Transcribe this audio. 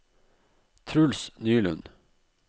Truls Nylund